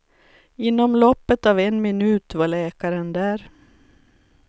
Inom loppet av en minut var läkaren där.